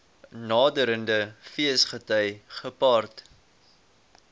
naderende feesgety gepaard